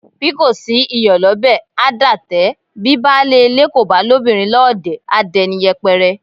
Bí kò sí iyọ̀ lọ́bẹ̀, a dátẹ; bi baálé ilé kò bá lóbìnrin lọ́ọ̀dẹ̀ a dẹni yẹpẹrẹ.